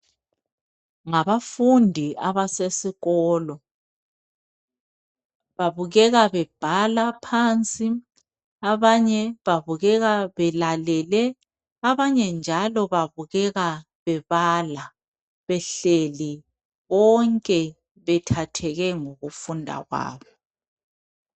Ngabafundi abasesikolo. Babukeka bebhala phansi, abanye babukeka belalele, abanye njalo babukeka bebala behleli, bonke bethetheke ngokufunda kwabo.